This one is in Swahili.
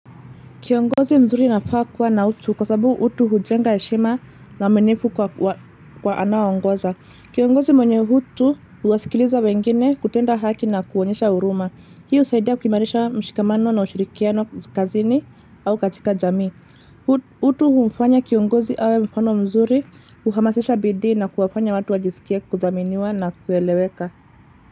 Kiongozi mzuri anafaa kuwa na utu kwa sababu utu hujenga heshima na uaminifu kwa anaowaongoza. Kiongozi mwenye utu huwasikiliza wengine kutenda haki na kuonyesha huruma. Hii husaidia kukiimarisha mshikamano na ushirikiano kazini au katika jamii. Utu humfanya kiongozi awe mfano mzuri huhamasisha bidii na kuwafanya watu wajisikie kuthaminiwa na kueleweka.